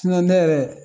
ne yɛrɛ